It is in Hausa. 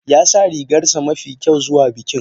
Ya sa rigarsa mafi kyau zuwa bikin.